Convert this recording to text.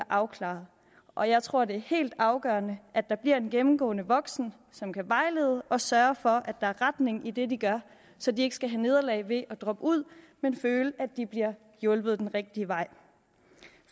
afklarede og jeg tror det er helt afgørende at der bliver en gennemgående voksen som kan vejlede og sørge for at der er retning i det de gør så de ikke skal have nederlag ved at droppe ud men føle at de bliver hjulpet den rigtige vej